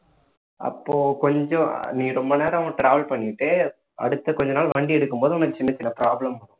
அப்போ கொஞ்சம் நீ ரொம்ப நேரம் travel பண்ணிட்டு அடுத்த கொஞ்ச நாள் வண்டி எடுக்கும்போது உனக்கு சின்னச் சின்ன problem வரும்